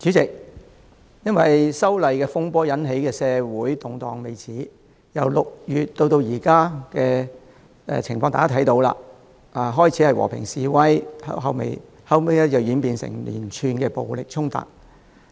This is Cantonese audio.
主席，因修例風波而引起的社會動盪未止，大家可以看到由6月至今，情況由最初的和平示威，演變至後期的連串暴力衝突。